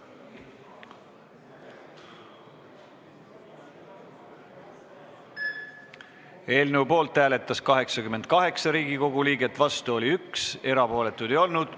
Hääletustulemused Eelnõu poolt hääletas 88 Riigikogu liiget, vastu oli 1, erapooletuid ei olnud.